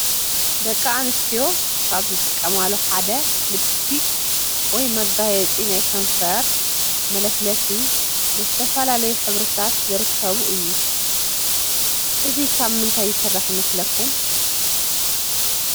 ደቂ አነሰትዮ ካብ ዝጥቀማሉ ሐደ ሊፕሰትከ ወይ መጋየፂ ናይ ከንፈር መለሰለሲ ብዘተፈላለዮ ሕብርታት ዝርከብ እዮ ። እዚ ካበምታይ ይሰራሕ ይመሰለኩም ?ሸ